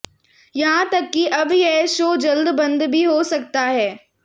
यहां तक कि अब यह शो जल्द बंद भी हो सकता है